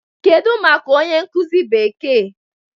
Kedu maka onye nkuzi Bekee?